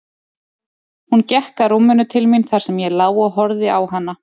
Hún gekk að rúminu til mín þar sem ég lá og horfði á hana.